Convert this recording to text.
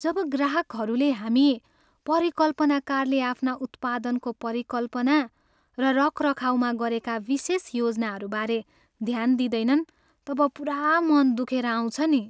जब ग्राहकहरूले हामी परिकल्पनाकारले आफ्ना उत्पादनको परिकल्पना र रखरखाउमा गरेका विशेष योजनाबारे ध्यान दिँदैनन् तब पुरा मन दुखेर आउँछ नि।